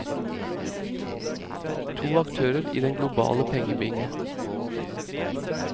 To aktører i den globale pengebinge.